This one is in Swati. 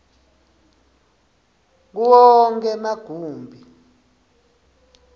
kuwo onkhe emagumbi